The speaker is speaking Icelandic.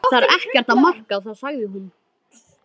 Það er ekkert að marka það sagði hún.